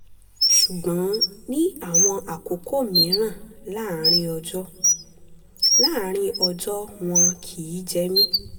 ṣùgbọ́n ní àwọn àkókò mìíràn láàárín ọjọ́ láàárín ọjọ́ wọn kìí jẹ mí